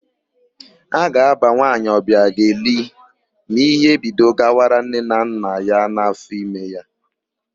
A ga-ábà nwaanyị Ọbịageli ma íhé bido gawara nne na nna ya n'áfọime ya.